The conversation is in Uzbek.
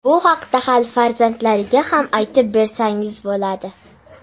Bu haqda hali farzandlaringizga ham aytib bersangiz bo‘ladi.